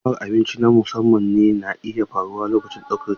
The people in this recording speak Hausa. Sha'awar abinci na musamman na iya faruwa a lokacin ɗaukar ciki.